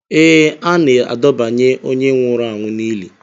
Ee, a na-adọbanye onye nwụrụ anwụ n'ili